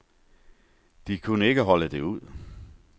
De kunne ikke holde det ud.